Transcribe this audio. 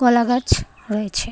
কলা গাছ রয়েছে .